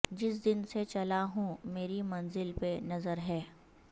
جس دن سے چلا ہوں مری منزل پہ نظر ہے